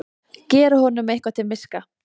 Gera honum eitthvað til miska!